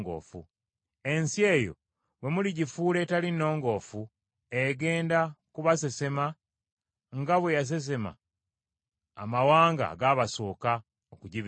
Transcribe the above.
Ensi eyo bwe muligifuula etali nnongoofu, egenda kubasesema nga bwe yasesema amawanga agaabasooka okugibeeramu.